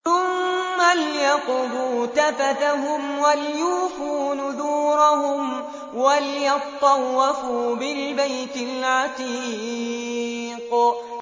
ثُمَّ لْيَقْضُوا تَفَثَهُمْ وَلْيُوفُوا نُذُورَهُمْ وَلْيَطَّوَّفُوا بِالْبَيْتِ الْعَتِيقِ